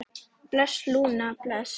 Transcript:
Bless, Lúna, bless.